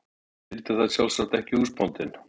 Hann þyldi það sjálfsagt ekki, húsbóndinn.